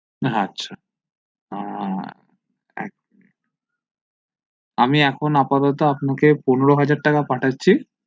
আচ্ছা হা এক মিনিট আমি এখন আপাতত আপনাকে পনেরো হাজার টাকা পাঠাচ্ছি